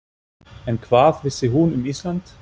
En hvað vissi hún um Ísland?